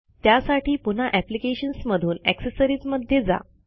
त्यासाठी पुन्हा अप्लिकेशन्स मधून अक्सेसरिज मध्ये जा